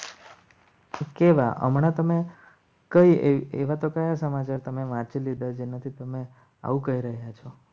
કેવા હમણાં તમે કઈ એવા તો કયા સમાચાર તમે વાંચી લીધા છે. નથી તમે આવું કહી રહ્યા છો.